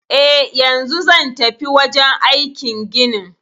Eh, yanzu zan tafi wajen aikin ginin